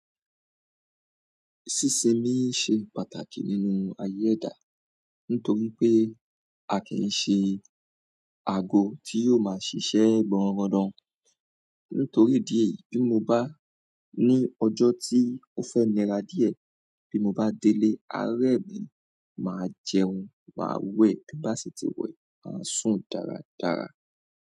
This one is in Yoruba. Sísinmi ṣe pàtàkì nínú ayé ẹ̀dá. Nítorí pé a kì í ṣe àgò tí yóò ma ṣiṣẹ́ gbọnrangandan. Nítorí idi èyí bí mo bá ní ọjọ́ tí ó fẹ́ nira díẹ̀, bí mo bá délé, arẹ́ mi máa jẹun, máa wẹ̀, bí n bá si ti wẹ̀, máa sùn dáradára.